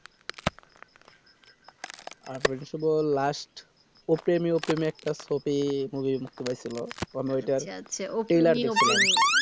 আরিফ ও শুভর last অপ্রেমি অপ্রেমি একটা ছবি movie বেরিয়েসিলো তো তো আমি ঐটা তিন বার দেখছিলাম